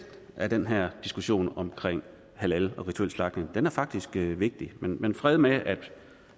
er den her diskussion om halal og rituel slagtning faktisk vigtig men fred med